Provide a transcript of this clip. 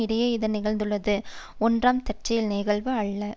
இடையே இது நிகழ்ந்துள்ளது ஒன்றாம் தற்செயல் நிகழ்வு அல்ல